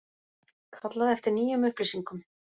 Kallað eftir nýjum upplýsingum